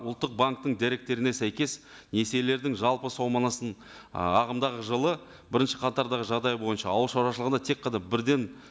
ұлттық банктің деректеріне сәйкес несиелердің жалпы ы ағымдағы жылы бірінші қатардағы жағдай бойынша ауыл шаруашылығында тек қана бірден